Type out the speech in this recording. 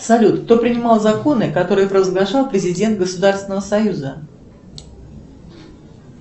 салют кто принимал законы которые провозглашал президент государственного союза